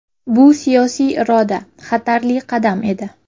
Bu siyosiy iroda, xatarli qadam edi.